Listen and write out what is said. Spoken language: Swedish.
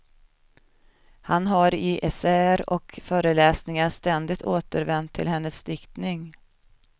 Han har i essäer och föreläsningar ständigt återvänt till hennes diktning.